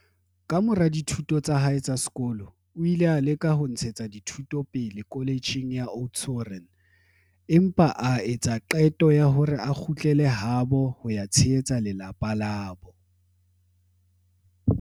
Kamora dithuto tsa hae tsa sekolo, o ile a leka ho ntshetsa dithuto pele kholetjheng ya Oudtshoorn, empa a etsa qeto ya hore a kgutlele habo ho ya tshehetsa lelapa labo.